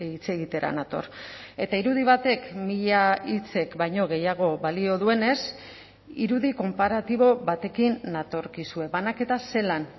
hitz egitera nator eta irudi batek mila hitzek baino gehiago balio duenez irudi konparatibo batekin natorkizue banaketa zelan